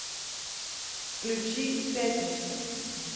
включи пятница